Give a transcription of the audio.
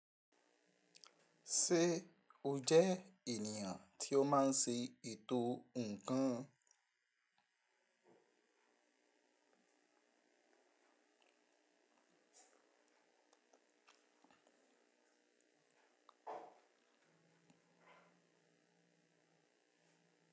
Ṣé o jẹ ènìyàn tí ó máa ń ṣe ètò ǹkan?